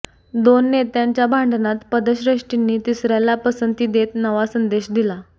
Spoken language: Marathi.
दोन नेत्यांच्या भांडणात पक्षश्रेष्ठींनी तिसऱ्याला पसंती देत नवा संदेश दिला